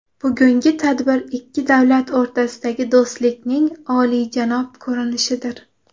Bugungi tadbir ikki davlat o‘rtasidagi do‘stlikning oliyjanob ko‘rinishidir.